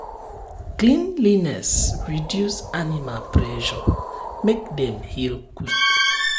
cleanliness reduce animal pressure um make dem heal quick.